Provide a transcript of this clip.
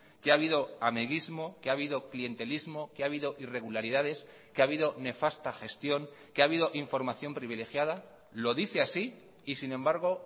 que ha habido amiguismo que ha habido clientelismo que ha habido irregularidades que ha habido nefasta gestión que ha habido información privilegiada lo dice así y sin embargo